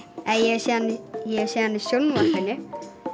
hef séð hann í sjónvarpinu